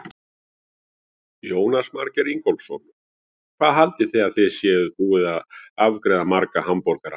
Jónas Margeir Ingólfsson: Hvað haldið þið að þið séuð búin að afgreiða marga hamborgara?